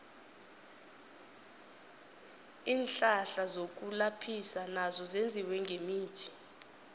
iinhlahla zokulaphisa nazo zenziwe ngemithi